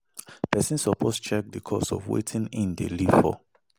Persin suppose check the cost of wetin him de save for